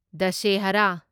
Dussehra